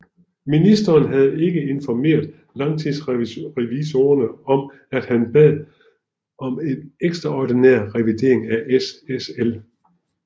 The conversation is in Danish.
Ministeren havde ikke informeret Lagtingsrevisorerne om at han bad om en ekstraordinær revidering af SSL